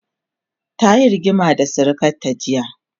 tayi rigima da sirikanta jiya